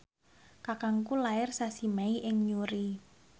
kakangku lair sasi Mei ing Newry